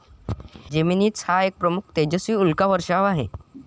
Geminids हा एक प्रमुख, तेजस्वी उल्का वर्षाव आहे.